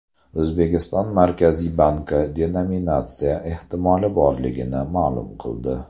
O‘zbekiston Markaziy banki denominatsiya ehtimoli borligini ma’lum qildi .